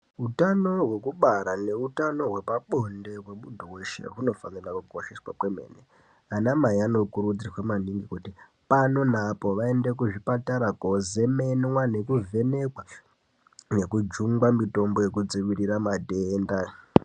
Utano hwekubara neutano hwepabonde hwemunhu weshe hunofanira kukosheswa kwemene anamai anokuridzirwa maningi kuti pano neapo vaende kuzvipatara kozemenwa nekuvhenekwa nekujungwa mitombo inodzivirira matenda .